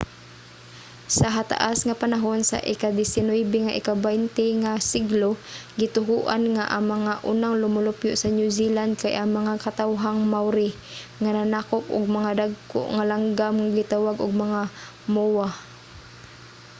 sa hataas nga panahon sa ikadisinuybe ug ikabaynte nga siglo gituohan nga ang mga unang lumulupyo sa new zealand kay ang mga katawhang maori nga nanakop og mga dagko nga langgam nga gitawag og mga moa